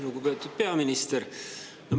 Lugupeetud peaminister!